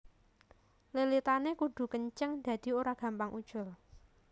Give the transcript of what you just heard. Lilitané kudu kenceng dadi ora gampang ucul